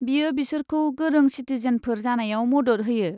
बेयो बिसोरखौ गोरों सिटिजेनफोर जानायाव मदद होयो।